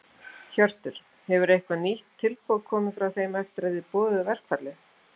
Hjörtur: Hefur eitthvað nýtt tilboð komið frá þeim eftir að þið boðuðu verkfallið?